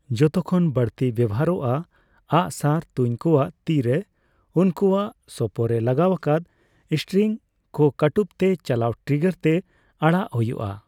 ᱡᱚᱛᱚ ᱠᱷᱚᱱ ᱵᱟᱹᱲᱛᱤ ᱵᱮᱣᱦᱟᱨᱚᱜᱼᱟ, ᱟᱜᱽ ᱥᱟᱨ ᱛᱩᱧ ᱠᱚᱣᱟᱜ ᱛᱤᱨᱮ ᱥᱮ ᱩᱱᱠᱩᱟᱜ ᱥᱳᱯᱳ ᱨᱮ ᱞᱟᱜᱟᱣ ᱟᱠᱟᱫ ᱥᱴᱨᱤᱝ ᱠᱚ ᱠᱟᱹᱴᱩᱵ ᱛᱮ ᱪᱟᱞᱟᱣ ᱴᱨᱤᱜᱟᱨ ᱛᱮ ᱟᱲᱟᱜ ᱦᱩᱭᱩᱜᱼᱟ ᱾